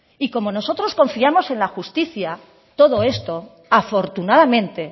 y como nosotros confiamos en la justicia todo esto afortunadamente